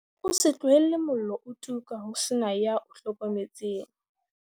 O se tlohele mollo o tuka ho se na ya o hlokometseng